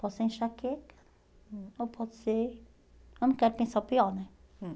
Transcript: Pode ser enxaqueca ou pode ser... Eu não quero pensar o pior, né? Hum.